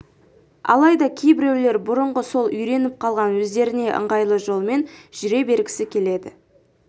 алайда кейбіреулер бұрынғы сол үйреніп қалған өздеріне ыңғайлы жолымен жүре бергісі келеді